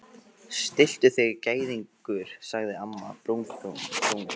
Stilltu þig gæðingur sagði amma brúnaþung.